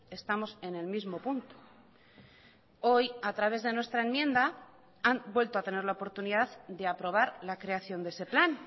estamos en el mismo punto hoy a través de nuestra enmienda han vuelto a tener la oportunidad de aprobar la creación de ese plan